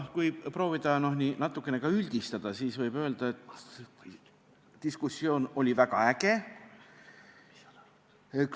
Kui proovida natukene üldistada, siis võib öelda, et diskussioon komisjonis oli väga äge.